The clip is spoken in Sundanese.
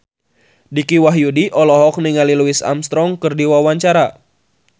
Dicky Wahyudi olohok ningali Louis Armstrong keur diwawancara